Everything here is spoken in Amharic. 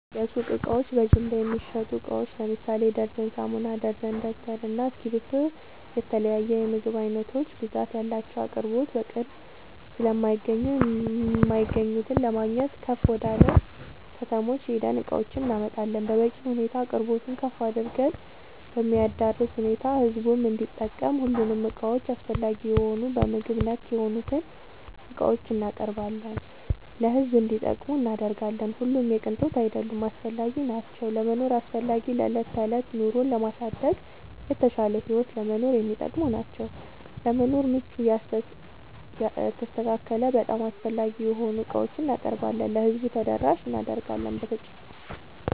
የሱቅ እቃዎች በጅምላ የሚሸጡ እቃዎች ለምሳሌ ደርዘን ሳሙና፣ ደርዘን ደብተር እና እስኪብርቶ የተለያዬ የምግብ አይነቶች ብዛት ያላቸው አቅርቦት በቅርብ ስለማይገኙ የማይገኙት ለማግኘት ከፍ ወደላ ከተሞች ሄደን እቃዎችን እናመጣለን በበቂ ሁኔታ አቅርቦቱን ከፍ አድርገን በሚያዳርስ ሁኔታ ህዝቡም እንዲጠቀም ሁሉንም እቃዎች አስፈላጊ የሆኑ በምግብ ነክ የሆኑትን እቃዎችን እናቀርባለን ለሕዝብ እንዲጠቀሙ እናደርጋለን። ሁሉም የቅንጦት አይደሉም አስፈላጊናቸው ለመኖር አስፈላጊ ለዕለት ተዕለት ኑሮን ለማሳደግ የተሻለ ህይወት ለመኖር የሚጠቅሙ ናቸው። ለመኖር ምቹ የተስተካከለ በጣም አስፈላጊ የሆኑ ዕቃዎችን እናቀርባለን ለህዝቡ ተደራሽ እናደርጋለን።…ተጨማሪ ይመልከቱ